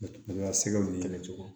sɛgɛw ni yɛrɛ cogo